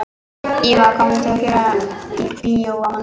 Íva, hvaða myndir eru í bíó á mánudaginn?